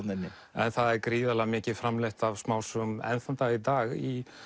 en það er gríðarlega mikið framleitt af smásögum enn þann dag í dag í